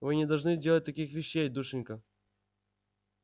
вы не должны делать таких вещей душенька